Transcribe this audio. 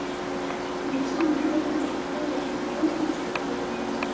Mun Kína einhvern tímann berjast um heimsmeistaratitilinn?